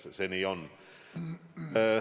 Nii see on.